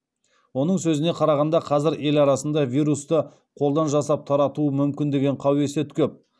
оның сөзіне қарағанда қазір ел арасында вирусты қолдан жасап таратуы мүмкін деген қауесет көп